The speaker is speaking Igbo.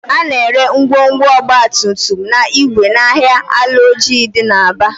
A na-ere ngwongwo ọgbatumtum na igwe n'ahịa Alaoji dị n'Aba